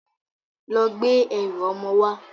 Lọ gbé ẹrù ọmọ wá!